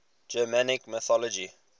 germanic mythology